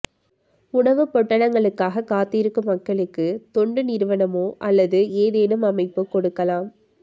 உணவுப் பொட்டலங்களுக்காகக் காத்திருக்கும் மக்களுக்கு தொண்டு நிறுவனமோ அல்லது ஏதேனும் அமைப்போ கொடுக்கலாம்